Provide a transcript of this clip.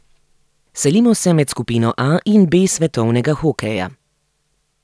Selimo se med skupino A in B svetovnega hokeja.